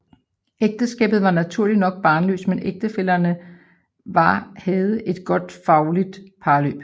Ægteskabet var naturligt nok barnløst men ægtefællerne var havde et godt faglig parløb